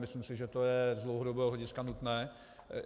Myslím si, že to je z dlouhodobého hlediska nutné.